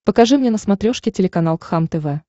покажи мне на смотрешке телеканал кхлм тв